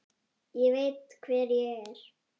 Ég veit hver ég er.